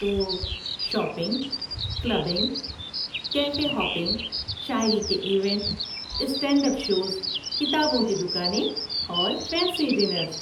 تو، shopping, clubbing, cafe hopping, شاعری کے ایونٹ، اسٹینڈ اپ شوز، کتابوں کی دکانیں، اور فینسی ڈینر۔